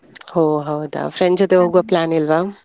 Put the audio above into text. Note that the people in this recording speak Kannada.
ಹೋ ಹೌದಾ friend ಜೊತೆ ಹೋಗೋ plan ಇಲ್ವಾ?